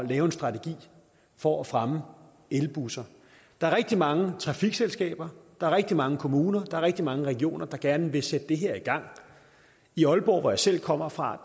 lave en strategi for at fremme elbusser der er rigtig mange trafikselskaber der er rigtig mange kommuner der er rigtig mange regioner der gerne vil sætte det her i gang i aalborg hvor jeg selv kommer fra